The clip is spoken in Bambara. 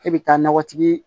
K'e bɛ taa nakɔtigi ye